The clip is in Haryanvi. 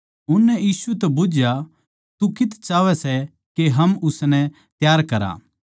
उननै यीशु तै बुझया तू कित्त चाहवै सै के हम उसनै त्यार करा